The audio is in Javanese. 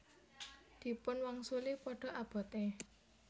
Dipun wangsuli Padha abote